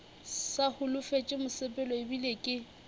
sa holofetše mosepelo ebile ke